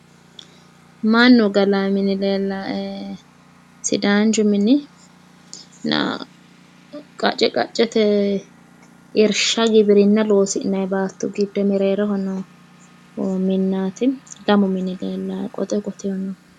Mannu galaa mini leellaae, sidaanchu mini leellaae. qacce qaccete irshsha giwirinna loosi'nayi baatto giddo mereeroho noo minnaati. lamu mini leella qote qoteh noohu.